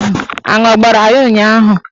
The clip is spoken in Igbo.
Aṅụ agbara ya ụnyaahụ?